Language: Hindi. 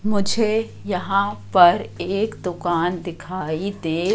मुझे यहां पर एक दुकान दिखाई दे--